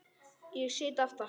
Ég sit aftast.